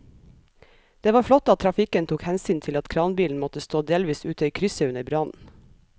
Det var flott at trafikken tok hensyn til at kranbilen måtte stå delvis ute i krysset under brannen.